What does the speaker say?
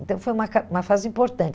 Então foi uma ca uma fase importante.